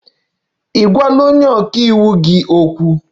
Ị gwala onye ọka iwu gị okwu?